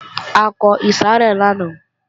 A kọ ìsàrẹ́ lánàá